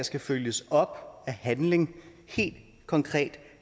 skal følges op af handling helt konkret